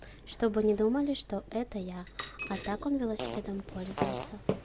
чтобы не думали что это я а так он велосипедом пользуется